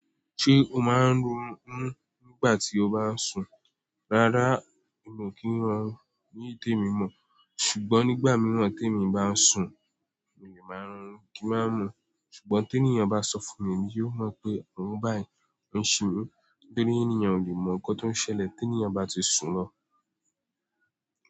Ṣé o máa ń ronú nígbà tí o bá ń sùn? Rárá mi kì í ronú ní iyi temi mọ̀, ṣùgbọ́n nígbà mìíràn tí èmi bá ń sùn, mi ò lè máa ronú kí máa mọ̀. Ṣùgbọ́n tí ènìyàn bá sọ fún mi, yóò han pé òun báyìí ń ṣinú nítorí ènìyàn ò lè mọ̀ nǹkan tó ń ṣẹlẹ̀ tí ènìyàn bá ti sùn lọ.